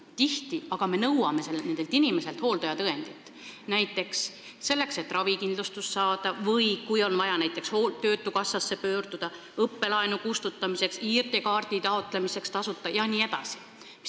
Tihti aga me nõuame nendelt inimestelt hooldajatõendit, näiteks selleks, et ravikindlustust saada või töötukassasse pöörduda, õppelaenu kustutamiseks, ID-kaardi taotlemiseks tasuta jne.